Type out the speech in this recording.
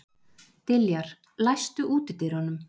Diljar, læstu útidyrunum.